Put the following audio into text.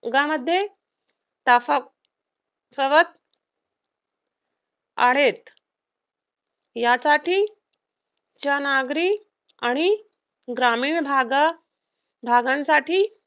विभागामध्ये आहेत. यासाठीच्या नागरिक आणि ग्रामीण भागांसाठी